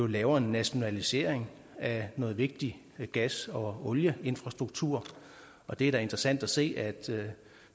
laver en nationalisering af noget vigtig gas og olieinfrastruktur og det er da interessant at se at